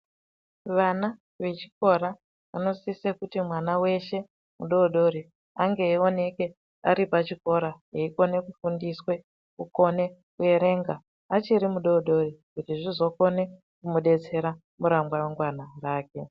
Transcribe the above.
Vana vechikora vanosise kuti mwana veshe mudodori. Ange eioneke ari pachikora eikone kufundiswe kukone kuverenga. Achiri mudodori kuti zvizokone kumubetsera ramangwana rake.